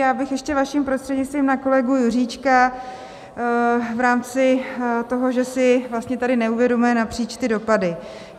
Já bych ještě, vaším prostřednictvím, na kolegu Juříčka v rámci toho, že si vlastně tady neuvědomujeme napříč ty dopady.